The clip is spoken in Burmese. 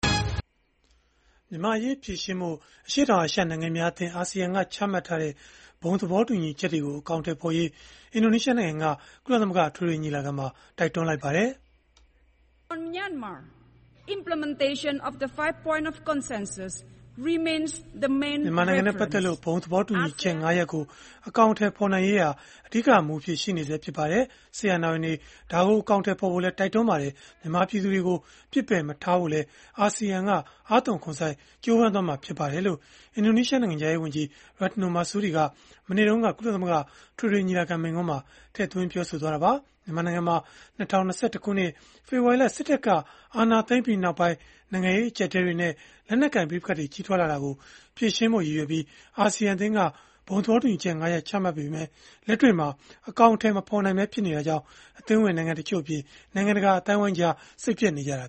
မြန်မာ့အရေး ဖြေရှင်းဖို့ အရှေ့တောင်အာရှ နိုင်ငံများအသင်းက ချမှတ်ထားတဲ့ ဘုံသဘောတူညီချက်တွေကို အကောင်အထည်ဖော်ရေး အင်ဒိုနီးရှားနိုင်ငံက ကုလသမဂ္ဂ အထွေထွေညီလာခံမှာ တိုက်တွန်းလိုက်ပါတယ်။ “မြန်မာနိုင်ငံနဲ့ ပတ်သက်လို့ ဘုံသဘောတူညီချက် ၅ ရပ်ကို အကောင်အထည်ဖော်နိုင်ရေးဟာ အဓိကမူအဖြစ် ရှိနေဆဲ ဖြစ်ပါတယ်။ စစ်အာဏာပိုင်တွေ ဒါကို အကောင်အထည် ဖော်ဖို့လည်း တိုက်တွန်းပါတယ်။ မြန်မာပြည်သူတွေကို ပစ်ပယ်မထားဖို့လည်း အာဆီယံက အားသွန်ခွန်စိုက် ကြိုးပမ်းမှာ ဖြစ်ပါတယ်။” လို့ အင်ဒိုနီးရှား နိုင်ငံခြားရေးဝန်ကြီး Retno Marsudi က မနေ့တုန်းက ကုလသမဂ္ဂ အထွေထွေညီလာခံ မိန့်ခွန်းမှာ ထည့်သွင်းပြောဆိုသွားတာပါ။ မြန်မာနိုင်ငံမှာ ၂၀၂၁ ခုနှစ် ဖေဖော်ဝါရီလ စစ်တပ်က အာဏာသိမ်းပြီးနောက်ပိုင်း နိုင်ငံရေး အကျပ်အတည်းတွေနဲ့ လက်နက်ကိုင် ပဋိပက္ခတွေ ကြီးထွားလာတာကို ဖြေရှင်းဖို့ ရည်ရွယ်ပြီး အာဆီယံအသင်းက ဘုံသဘောတူညီချက် ၅ ရပ် ချမှတ်ခဲ့ပေမဲ့ လက်တွေ့မှာအကောင်အထည် မဖော်နိုင်ပဲ ဖြစ်နေတာကြောင့် အသင်းဝင်နိုင်ငံတချို့အပြင် နိုင်ငံတကာ အသိုင်းအဝိုင်းကြား စိတ်ပျက်နေကြတာ